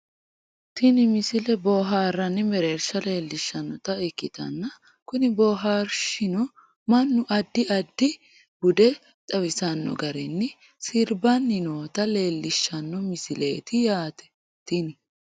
tini misile bohaarranni mereersha leellishshannota ikkitanna kuni bohaarshino mannu addi addi bude xawisanno garinni sirbanni noota leellishshanno misileeti yaate tini